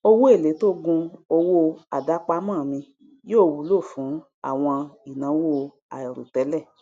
owó èlé tó gun owó àdápamọ mi yóò wúlò fún àwọn ìnáwó àìròtẹlẹ